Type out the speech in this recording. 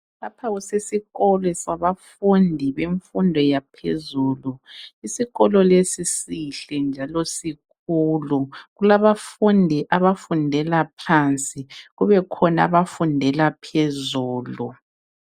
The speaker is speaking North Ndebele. Lapha kusesikolo sabafundi bemfundo yaphezulu. Isikolo lesi sihle njalo sikhulu kulabafundi abafundela phansi kube khona abafundela phezulu.